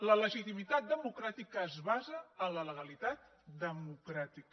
la legitimitat democràtica es basa en la legalitat democràtica